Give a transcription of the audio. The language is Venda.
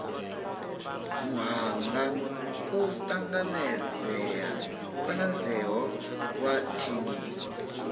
muhanga u tanganedzeaho wa thengiso